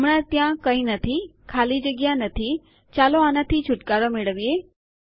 હમણાં ત્યાં કંઈ નથી ખાલી જગ્યા નથી ચાલો આનાથી છુટકારો મેળવીએ